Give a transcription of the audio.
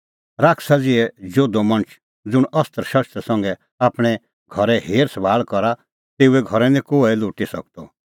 शैताना ज़िहै जोधअ मणछ ज़ुंण अस्त्रशस्त्र संघै आपणैं घरे हेरसभाल़ करा तेऊओ घर निं कोहै लुटी सकदअ